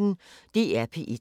DR P1